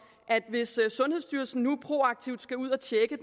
at hvis sundhedsstyrelsen nu proaktivt skal ud at tjekke